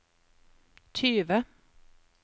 tyve